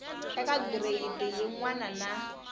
eka gireyidi yin wana na